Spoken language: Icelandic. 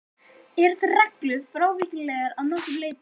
Eru þær reglur frávíkjanlegar að nokkru leyti.